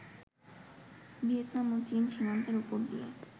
Vietnam ও চীন সীমান্তের ওপর দিয়ে